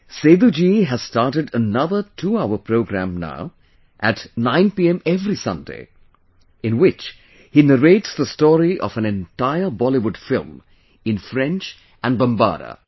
Seduji has started another twohour program now at 9 pm every Sunday, in which he narrates the story of an entire Bollywood film in French and Bombara